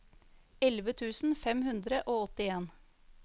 elleve tusen fem hundre og åttien